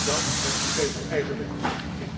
Dan het systeem van eigen middelen.